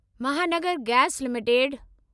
Mahanagar gas limited